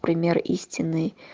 пример истины